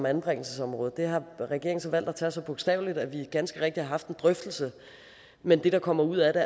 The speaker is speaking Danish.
anbringelsesområdet det har regeringen så valgt at tage så bogstaveligt at vi ganske rigtigt har haft en drøftelse men det der kommer ud af det